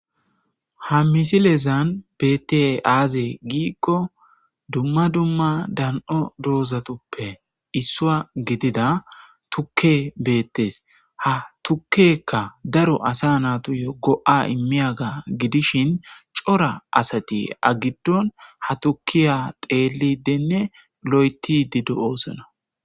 Ha misilezan bette aaze giikko dumma dumma dan'o doozatoppe issua gidida tukke beettes ha tukkekka daro asa natuyo go7a immiyaga gidishin cora asati agiddon ha tukkiya xeelidenne lo'etidido oosona